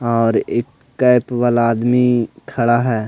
और एक कैप वाला आदमी खड़ा है.